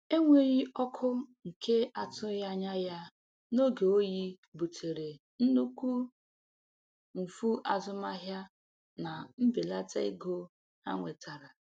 Enweghị ọkụ nke atụghị anya ya n'oge oyi butere nnukwu mfu azụmahịa na mbelata ego ha nwetara.